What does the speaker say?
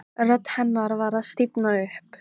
Rödd hennar var að stífna upp.